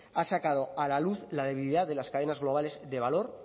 ha sacado a la luz la debilidad de las cadenas globales de valor